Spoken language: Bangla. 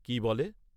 কি বলে।